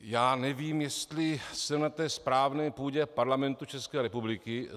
Já nevím, jestli jsem na té správné půdě Parlamentu České republiky.